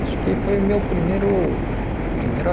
Acho que foi o meu primeiro primeiro